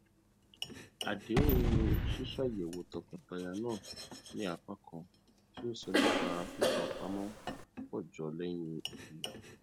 àdéhùn ṣíṣéyàwó tọkọtaya náà ní apá kan tí ó sọ nípa fífipamọ pọ jọ lẹyìn ìgbéyàwó